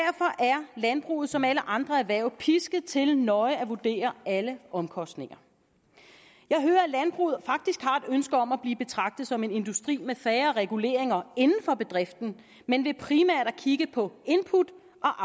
landbruget som alle andre erhverv pisket til nøje at vurdere alle omkostninger jeg hører at landbruget faktisk har et ønske om at blive betragtet som en industri med færre reguleringer inden for bedriften men ved primært at kigge på input